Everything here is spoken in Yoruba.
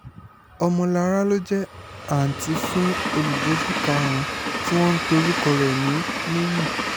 ọmọlára ló jẹ́ àǹtí fún olùjẹ́jọ́ karùn-ún tí wọ́n ń pe orúkọ rẹ̀ ní níyí